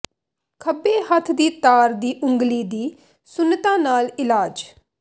ਖੱਬੇ ਹੱਥ ਦੀ ਤਾਰ ਦੀ ਉਂਗਲੀ ਦੀ ਸੁੰਨਤਾ ਨਾਲ ਇਲਾਜ